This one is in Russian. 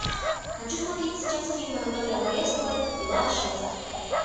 хочу смотреть сейчас фильм анатолия валевского пила шесть